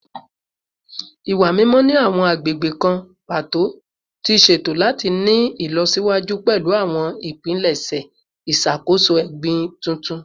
Iwa mimọ ni awọn agbegbe kan pato ti ṣeto lati ni ilọsiwaju pẹlu awọn ipilẹṣẹ iṣakoso egbin tuntun